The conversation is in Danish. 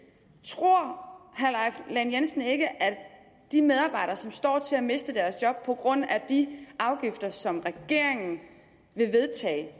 tror herre leif lahn jensen ikke at de medarbejdere som står til at miste deres job på grund af de afgifter som regeringen vil vedtage